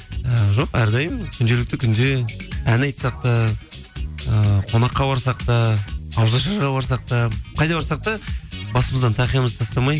і жоқ әрдайым күнделікті күнде ән айтсақ та ііі қонаққа барсақ та ауызашарға барсақ та қайда барсақ та басымыздан тақиямызды тастамай